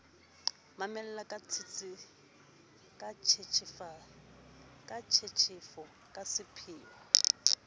mamela ka tshetshefo ka sepheo